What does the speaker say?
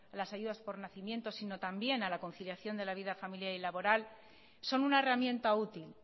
las ayudas por nacimiento sino también a la conciliación de la vida familiar y laboral son una herramienta útil